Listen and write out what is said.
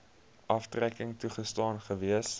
aftrekking toegestaan gewees